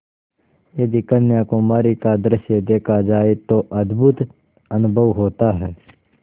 यदि कन्याकुमारी का दृश्य देखा जाए तो अद्भुत अनुभव होता है